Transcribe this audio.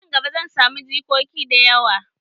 Nan gaba, zan samu jikoki da yawa.